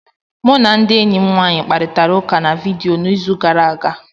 Mụ na enyi m nwaanyị kparịtara ụka na vidiyo n'izu gara aga.